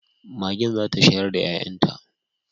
Magen zata shayar da 'ya'yanta